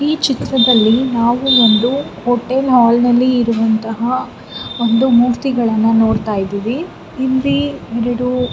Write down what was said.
ಈ ಚಿತ್ರದಲ್ಲಿ ನಾವು ಒಂದು ಹೋಟೆಲ್ ಹಾಲ್ನಲ್ಲಿ ಇರುವಂಥ ಒಂದು ಮೂರ್ತಿಗಳನ್ನು ನೋಡತಾ ಇದ್ದಿವಿ ಇಲ್ಲಿ --